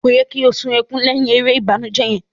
Ko yẹ ki o sun ẹkùn lẹhin èrè ìbànújẹ yẹn?